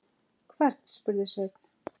Hvern, spurði Sveinn.